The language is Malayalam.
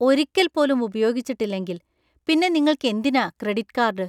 ഒരിക്കൽപ്പോലും ഉപയോഗിച്ചിട്ടില്ലെങ്കിൽ ,പിന്നെ നിങ്ങൾക്ക് എന്തിനാ ക്രെഡിറ്റ് കാർഡ് ?